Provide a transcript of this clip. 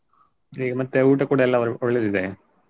ಇಲ್ಲಿ ಮತ್ತೆ ಊಟ ಕೂಡ ಅವರು ಎಲ್ಲಾ ಒಳ್ಳೆದಿದೆ.